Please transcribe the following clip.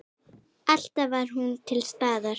Alltaf var hún til staðar.